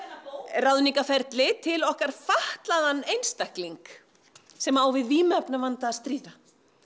ráðningarferli til okkar fatlaðan einstakling sem á við vímuefnavanda að stríða